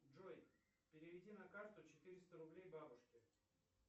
джой переведи на карту четыреста рублей бабушке